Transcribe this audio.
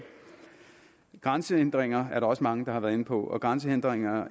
grænsehindringer er der også mange der har været inde på og grænsehindringer